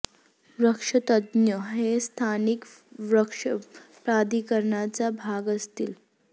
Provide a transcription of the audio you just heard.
वृक्ष तज्ञ हे स्थानिक वृक्ष प्राधिकरणाचा भाग असतील